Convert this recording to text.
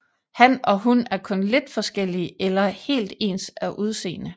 Han og hun er kun lidt forskellige eller helt ens af udseende